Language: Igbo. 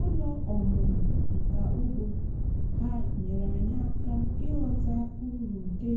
ụlọ ọmụmụ nka ugbo ha nyere anyị aka ịghọta uru nke